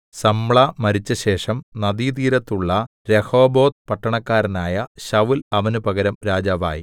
സമ്ലാ മരിച്ചശേഷം നദീതീരത്തുള്ള രെഹോബോത്ത് പട്ടണക്കാരനായ ശൌല്‍ അവന് പകരം രാജാവായി